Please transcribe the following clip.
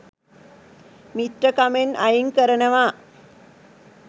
මිත්‍රකමෙන් අයින් කරනවා